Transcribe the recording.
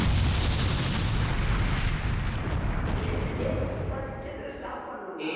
டேய் முப்பது நிமிஷத்துல stop பண்ணணும்டா.